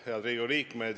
Head Riigikogu liikmed!